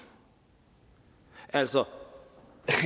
altså